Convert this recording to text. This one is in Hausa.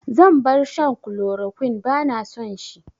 Zan bar shan kulorokwin, ba na son shi